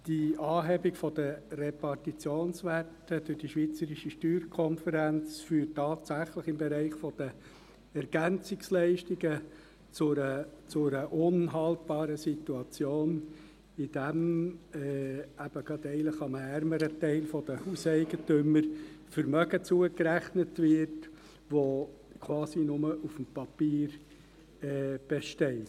Die Anhebung der Repartitionswerte durch die SSK führt tatsächlich im Bereich der EL zu einer unhaltbaren Situation, indem einem ärmeren Teil der Hauseigentümer Vermögen zugerechnet wird, das nur auf dem Papier besteht.